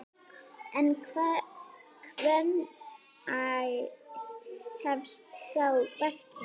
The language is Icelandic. En hvenær hefst þá verkið?